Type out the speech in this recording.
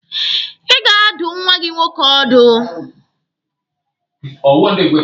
Ị ga-adụ nwa gị nwoke ọdụ!